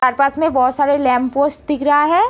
पास में बोहोत सारे लैप पोस्ट दिख रहा हैं।